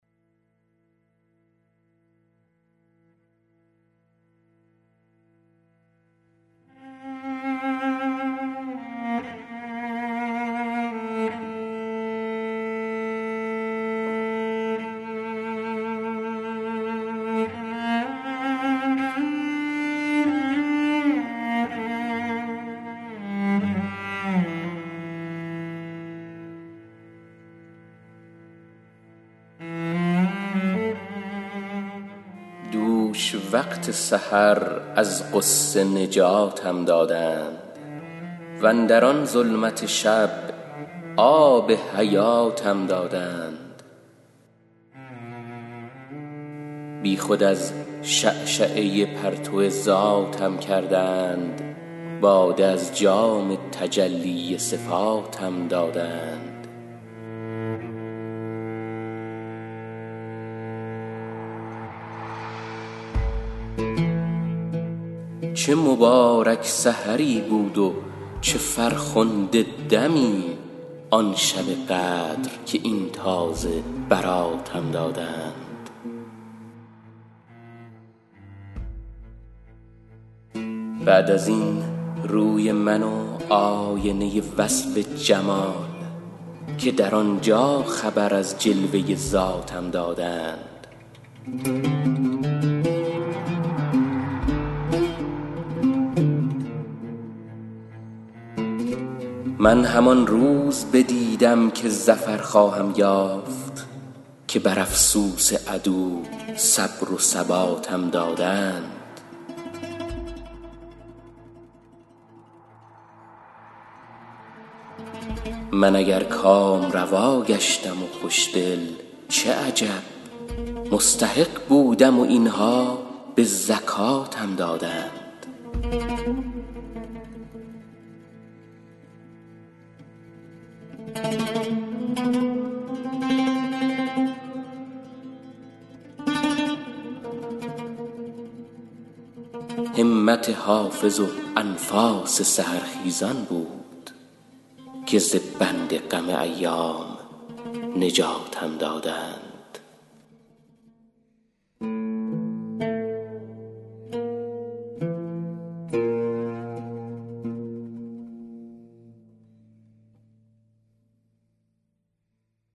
دوش وقت سحر از غصه نجاتم دادند واندر آن ظلمت شب آب حیاتم دادند بی خود از شعشعه پرتو ذاتم کردند باده از جام تجلی صفاتم دادند چه مبارک سحری بود و چه فرخنده شبی آن شب قدر که این تازه براتم دادند بعد از این روی من و آینه وصف جمال که در آن جا خبر از جلوه ذاتم دادند من اگر کامروا گشتم و خوش دل چه عجب مستحق بودم و این ها به زکاتم دادند هاتف آن روز به من مژده این دولت داد که بدان جور و جفا صبر و ثباتم دادند این همه شهد و شکر کز سخنم می ریزد اجر صبری ست کز آن شاخ نباتم دادند همت حافظ و انفاس سحرخیزان بود که ز بند غم ایام نجاتم دادند